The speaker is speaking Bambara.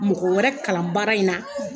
Mɔgɔ wɛrɛ kalan baara in na.